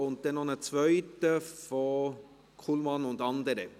– und dann noch einen zweiten von Kullmann und andere.